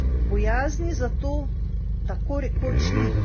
Bojazni za to tako rekoč ni.